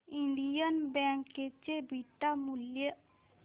Indian bank चे beta मूल्य